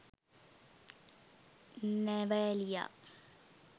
navaliya